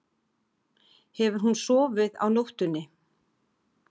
Hefur hún sofið á nóttunni?